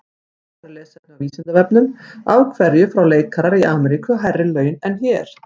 Frekara lesefni á Vísindavefnum: Af hverju fá leikarar í Ameríku hærri laun en hér?